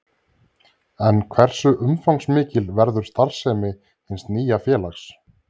En hversu umfangsmikil verður starfssemi hins nýja félags?